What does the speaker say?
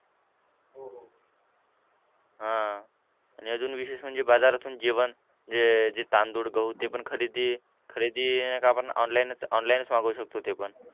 हां. आणि अजून विशेष म्हणजे बाजारातून जेवण जे जे तांदूळ, गहू ते पण खरेदी खरेदी आपण online च online च मागवू शकतो ते पण.